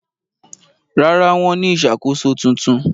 Rárá, wọ́n ní ìṣàkóso tuntun?